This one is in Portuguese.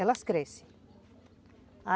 Elas crescem.